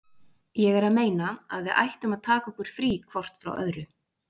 Ég er að meina. að við ættum að taka okkur frí hvort frá öðru.